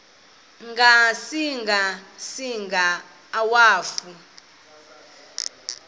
ngasinga singa akwafu